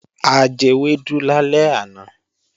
A jewẹ́dú lálẹ́ àná